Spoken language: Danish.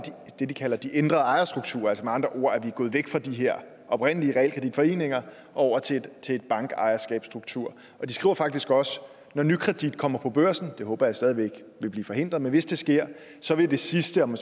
det de kalder de ændrede ejerstrukturer altså med andre ord er gået væk fra de her oprindelige realkreditforeninger og over til en bankejerskabsstruktur og de skriver faktisk også at når nykredit kommer på børsen det håber jeg stadig væk vil blive forhindret men hvis det sker så vil det sidste om